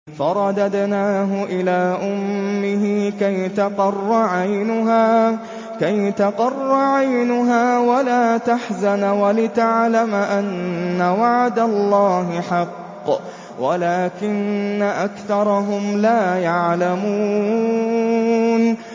فَرَدَدْنَاهُ إِلَىٰ أُمِّهِ كَيْ تَقَرَّ عَيْنُهَا وَلَا تَحْزَنَ وَلِتَعْلَمَ أَنَّ وَعْدَ اللَّهِ حَقٌّ وَلَٰكِنَّ أَكْثَرَهُمْ لَا يَعْلَمُونَ